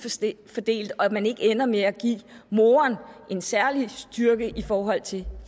fordelt og at man ikke ender med at give moren en særlig styrke i forhold til